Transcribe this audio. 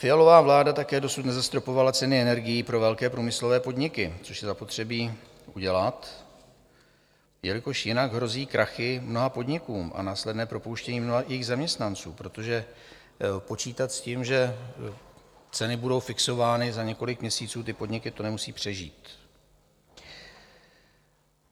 Fialová vláda také dosud nezastropovala ceny energií pro velké průmyslové podniky, což je zapotřebí udělat, jelikož jinak hrozí krachy mnoha podnikům a následné propouštění mnoha jejich zaměstnanců, protože počítat s tím, že ceny budou fixovány, za několik měsíců ty podniky to nemusí přežít.